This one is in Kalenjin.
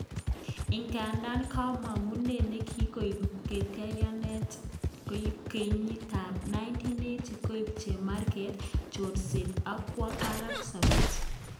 Idadan komogunet nekikoib katyaknatet kenyitab 1980 koib chemarget, chorset ak kwo barak sobet .